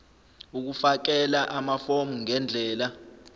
ukufakela amafomu ngendlela